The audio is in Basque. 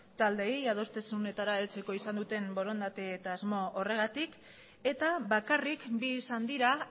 taldeei adostasunetara heltzeko izan duten borondate eta asmo horregatik eta bakarrik bi izan dira